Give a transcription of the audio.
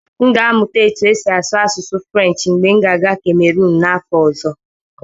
M ga-amụta otú e si asụ asụsụ Frenshi mgbe m ga-aga kamerun n'afọ ọzọ.